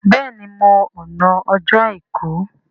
béèni mọ àna Ọjọ́ aìkú.